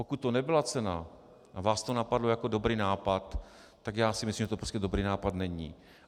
Pokud to nebyla cena a vás to napadlo jako dobrý nápad, tak já si myslím, že to prostě dobrý nápad není.